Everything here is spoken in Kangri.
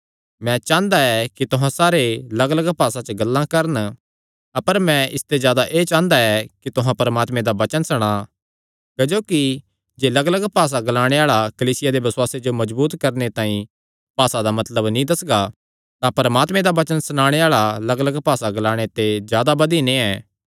मैं चांह़दा ऐ कि तुहां सारे लग्गलग्ग भासा च गल्लां करन अपर मैं इसते जादा एह़ चांह़दा ऐ कि तुहां परमात्मे दा वचन सणा क्जोकि जे लग्गलग्ग भासा ग्लाणे आल़ा कलीसिया दे बसुआसे जो मजबूत करणे तांई भासा दा मतलब नीं दस्सगा तां परमात्मे दा वचन सणाणे आल़ा लग्गलग्ग भासा ग्लाणे ते जादा बधी नैं ऐ